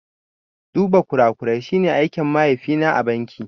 Duba kurakurai shi ne aikin mahaifi na a banki